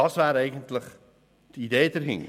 Dies wäre eigentlich die Idee dahinter.